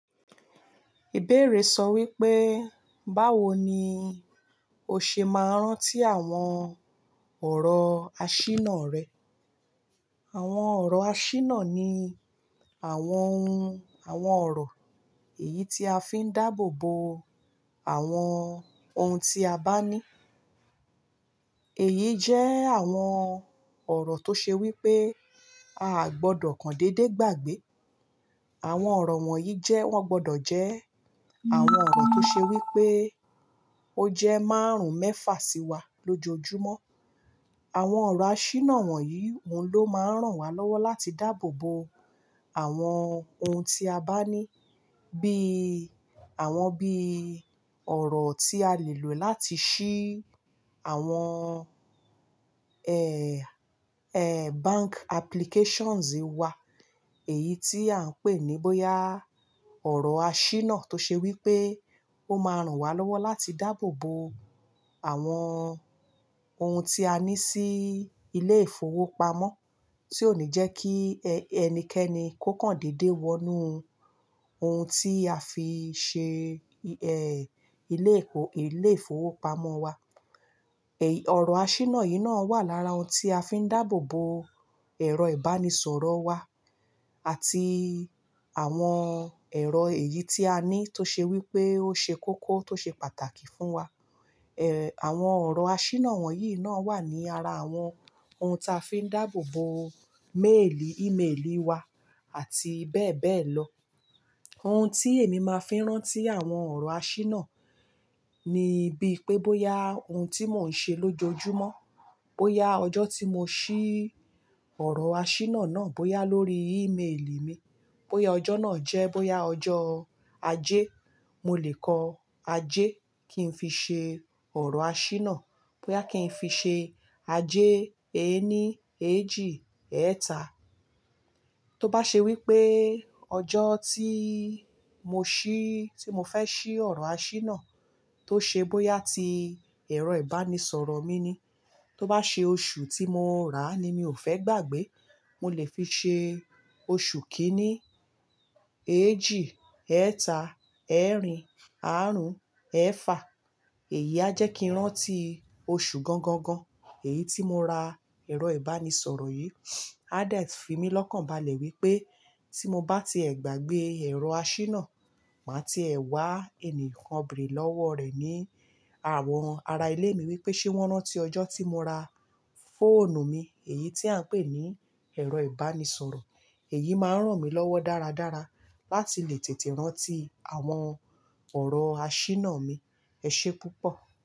Ìbéèrè sọ wípé, báwo ni o ṣe máa ń rántí àwọn ọ̀rọ̀ àṣìná rẹ? Àwọn ọ̀rọ̀ àṣìná ni àwọn ohun, àwọn ọ̀rọ̀ èyí tí a fi ń dáàbò bo àwọn ohun tí a bá ní. Èyí jẹ́ àwọn ọ̀rọ̀ tó ṣe wípé a gbọdọ̀ kàndédé gbàgbé. Àwọn ọ̀rọ̀ wọ̀nyí jẹ́ wọ́n gbọdọ̀ jẹ́ àwọn ọ̀rọ̀ tó ṣe wípé ó jẹ́ márùn-ún mẹ́fà sí wa lójoojúmọ́. Àwọn ọ̀rọ̀ àṣìná wọ̀nyí òun ló máa ń ràn wá lọ́wọ́ láti dáàbò bo àwọn ohun tí a bá ní bí i àwọn bí i ọ̀rọ̀ tí a lè lò láti ṣí àwọn, bank applications wa. Èyí tí à ń pè ní bóyá ọ̀rọ̀ àṣìná tó ṣe wípé ó máa ń ràn wá lọ́wọ́ láti dáàbò bo àwọn ohun tí a ní sí ilé ìfowópamọ́ tí ò ní jẹ́ kí ẹnikẹ́ni kó kàndédé wọnú ohun tí a fi ṣe, ilé-ìfowópamọ́ wa. Ọ̀rọ̀ àṣìná yìí náà wà lára ohun tí a fi ń dáàbò bo ẹ̀rọ ìbánisọ̀rọ̀ wa àti àwọn ẹ̀rọ èyí tí a ní tó ṣe wípé ó ṣe kókó tó ṣe pàtàkì fún wa. Àwọn ọ̀rọ̀ àṣìná wọ̀nyí náà wà ní ara àwọn ohun ta fi ń dáàbò bo méèlì, ímeèlì wa àti bẹ́ẹ̀ bẹ́ẹ̀ lọ. Ohun tí èmi máa fi ń rántí àwọn ọ̀rọ̀ àṣìná ni bí i pé bóyá ohun tí mò ń ṣe lójoojúmọ́, bóyá ọjọ́ tí mo ṣí ọ̀rọ̀ àṣìná náà, bóyá lórí ímeèlì mi, bóyá ọjọ́ náà jẹ́, bóyá ọjọ́ ajé, mo lè kọ ajé kí n fi ṣe ọ̀rọ̀ àṣìná. Bóyá kí n fi ṣe ajé ẹ́ẹ́nì, èéjì, ẹ́ẹ̀ta. Tó bá ṣe wípé ọjọ́ tí mo ṣí, tí mo fẹ́ ṣí ọ̀rọ̀ àṣìná tó ṣe bóyá tí ẹ̀rọ ìbánisọ̀rọ̀ mi ni. Tó bá ṣe oṣù tí mo rà ni mi ò fẹ́ gbàgbé, mo lè fi ṣe oṣù kìíní. Èéjì, ẹ́ẹ̀ta, ẹ́ẹ̀rìn, àrún, ẹ́fà. Èyí á jẹ́ kí n rántí oṣù gangan gan-an. Èyí tí mo ra ẹ̀rọ ìbánisọ̀rọ̀ yìí. A de fi mí lọ́kàn balẹ̀ wípé tí mo bá ti ẹ gbàgbé ẹ̀rọ àṣìná, màá ti ẹ wá ẹni kan bìrì lọ́wọ́ rẹ̀ ní àwọn ara ilé mi wípé ṣé wọ́n rántí ọjọ́ tí mo ra fóònù mi èyí tí à ń pè ní ẹ̀rọ ìbánisọ̀rọ̀. Èyí máa ń ràn mí lọ́wọ́ dáradára láti lè tètè rántí àwọn ọ̀rọ̀ àṣìná mi. Ẹ ṣé púpọ̀.